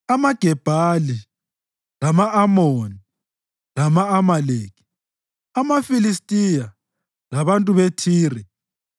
amaGebhali, lama-Amoni lama-Amaleki, amaFilistiya labantu beThire.